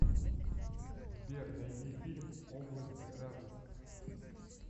сбер найди фильм области разума